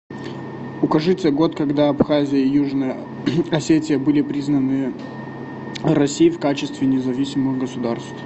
укажите год когда абхазия и южная осетия были признаны россией в качестве независимых государств